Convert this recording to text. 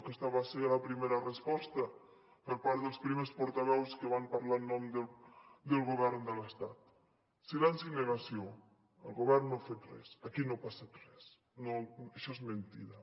aquesta va ser la primera resposta per part dels primers portaveus que van parlar en nom del govern de l’estat silenci i negació el govern no ha fet res aquí no ha passat res això és mentida